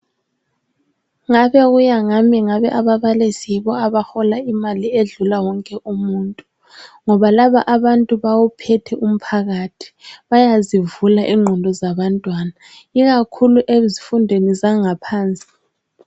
Ngabe kuya ngami ngani ababalisi bayabahola imali ezidlula wonke umuntu ngoba laba baphethe umphakathi bayazivula ingqondo zabantwana ikakhulu ezifundweni zangaphansi